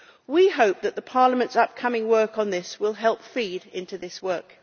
We hope that Parliament's upcoming work on this will help feed into this work.